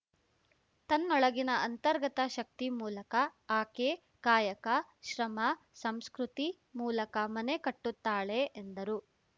ತನ್ನೊಳಗಿನ ಅಂತರ್ಗತ ಶಕ್ತಿ ಮೂಲಕ ಆಕೆ ಕಾಯಕ ಶ್ರಮ ಸಂಸ್ಕೃತಿ ಮೂಲಕ ಮನೆ ಕಟ್ಟುತ್ತಾಳೆ ಎಂದರು